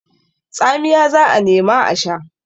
Tsamiya za a nema a sha.